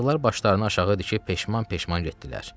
Yazıqlar başlarını aşağı əyib peşman-peşman getdilər.